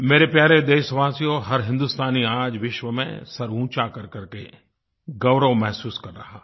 मेरे प्यारे देशवासियो हर हिंदुस्तानी आज विश्व में सिर ऊँचा करकर के गौरव महसूस कर रहा है